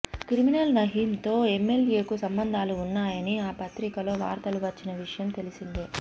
criminal Nayeem తో MLA కు సంభందాలు ఉన్నాయని ఆ పత్రికలో వార్తలు వచ్చిన విషయం తెలిసిందే